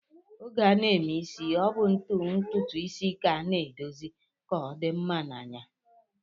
Oge a na-eme isi, ọ bụ ntụtụisi ka a na-edozi ka ọ dị mma n'anya